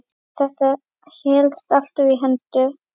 Þetta helst alltaf í hendur.